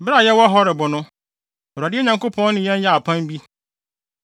Bere a yɛwɔ Horeb no, Awurade yɛn Nyankopɔn ne yɛn yɛɛ apam bi.